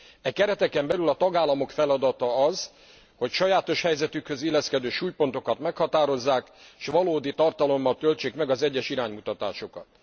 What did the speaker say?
E kereteken belül a tagállamok feladata az, hogy a sajátos helyzetükhöz illeszkedő súlypontokat meghatározzák, és valódi tartalommal töltsék meg az egyes iránymutatásokat.